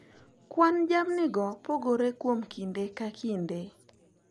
Kwan jamnigo pogore kuom kinde ka kinde,